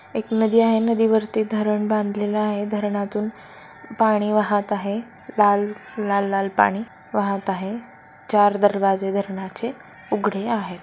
एक नदी आहे नदी वरती धरण बांधलेला आहे धरणातून पाणी वाहत आहे लाल लाल-लाल पाणी वाहत आहे चार दरवाजे धरणाचे उघडे आहेत.